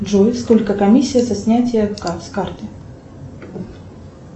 джой сколько комиссия за снятие с карты